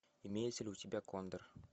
имеется ли у тебя кондор